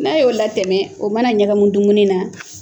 N'a y'o latɛmɛ o mana ɲagami dumuni na